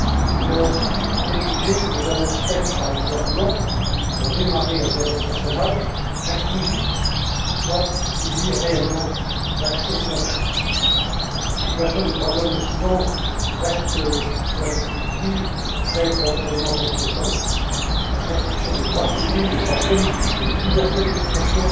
Elle a aussi exigé que les annonces faites par le gouvernement pour démarrer un dialogue national inclusif soient réellement suivies d'actions concrètes. La situation des droits de l'homme au Soudan reste, vous l'avez tous dit, très profondément inquiétante la restriction des droits civils, des droits politiques et de la liberté d'expression